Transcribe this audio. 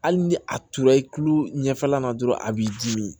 Hali ni a turu i kulo ɲɛfɛla la dɔrɔn a b'i dimi